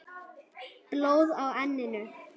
Blóð á enninu.